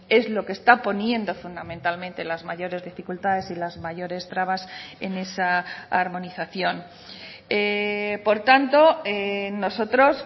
es lo que está poniendo fundamentalmente las mayores dificultades y las mayores trabas en esa armonización por tanto nosotros